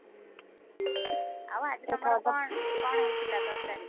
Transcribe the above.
ହୁଁ, ଆଉ ଆଜି ତମର କଣ କଣ ହେଇଥିଲା ତରକାରୀ?